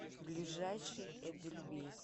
ближайший эдельвейс